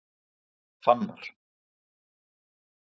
Fannar